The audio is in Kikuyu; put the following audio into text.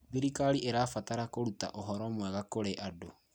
Thirikari ĩrabatara kũruta ũhoro mwega kũrĩ andũ.